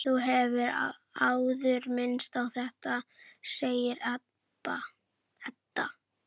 Þú hefur áður minnst á þetta, segir Edda.